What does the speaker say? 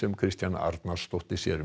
Kristjana Arnarsdóttir sér um